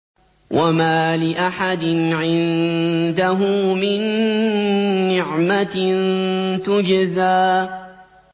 وَمَا لِأَحَدٍ عِندَهُ مِن نِّعْمَةٍ تُجْزَىٰ